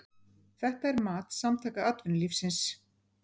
Þetta er mat Samtaka atvinnulífsins